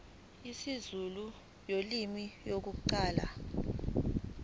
isizulu ulimi lokuqala